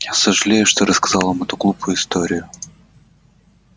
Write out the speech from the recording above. я сожалею что рассказал вам эту глупую историю